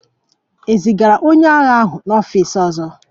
E zigara onye agha ahụ n'ọfịs ọzọ?